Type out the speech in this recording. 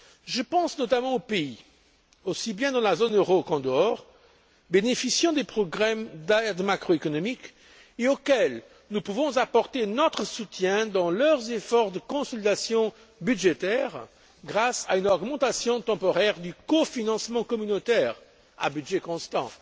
Je pense notamment aux pays, aussi bien dans la zone euro qu'en dehors, bénéficiant de programmes d'aide macroéconomique et auxquels nous pouvons apporter un soutien dans le cadre de leurs efforts de consolidation budgétaire, grâce à une augmentation temporaire du cofinancement communautaire, à budget constant.